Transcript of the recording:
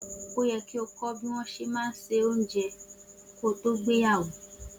O yẹ́ ki o kọ́ bí wọn ṣe má ń ṣe óunjẹ ko tó gbéyàwó.